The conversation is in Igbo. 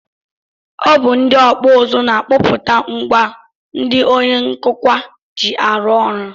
Ọ bụ ndị ọkpụụzụ na-akpụpụta ngwa ndị onye nkụkwa ji arụ ọrụ